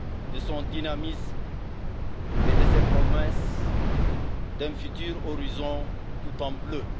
de son dynamisme et de ses promesses d'un futur horizon tout en bleu.